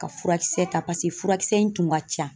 Ka furakisɛ ta .Paseke furakisɛ in tun ka ca.